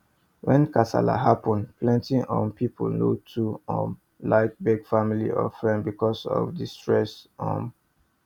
when kasala happen plenty um people no too um like beg family or friends because of the stress um